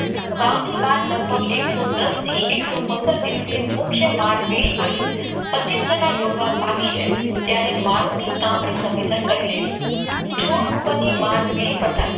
વાવણી બાદ લગભગ એક એક સો દસ થી એક સો પંદર સુધી મૂક મારપીડી પડી પચીસ ટકા પુરવા પાકી જાય ત્યારે મારીને કાપણી સમયસર કરી લેવી છ પીડી ઉપર માર પૂરી કરતા